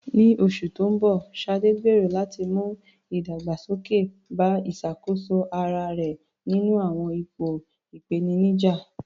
Ní oṣù tó ń bọ̀, Sade gbèrò láti mú ìdàgbàsókè bá ìṣàkóso ara rẹ̀ nínú àwọn ipò ìpèníjà.